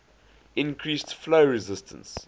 increase flow resistance